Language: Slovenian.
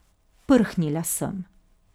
Prhnila sem.